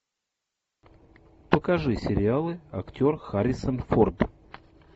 покажи сериалы актер харрисон форд